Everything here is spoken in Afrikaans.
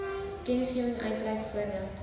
kennisgewing uitreik voordat